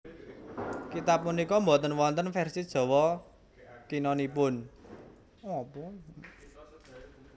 Kitab punika boten wonten vèrsi Jawa Kinanipun